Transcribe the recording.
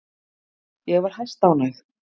Ég var hæstánægð.